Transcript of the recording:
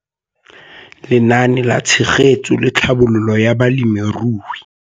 Lenaane la Tshegetso le Tlhabololo ya Balemirui.